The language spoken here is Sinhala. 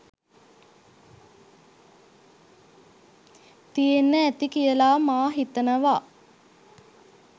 තියෙන්න ඇති කියලා මා හිතනවා.